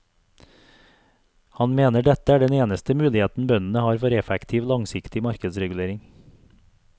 Han mener dette er den eneste mulighetene bøndene har for effektiv, langsiktig markedsregulering.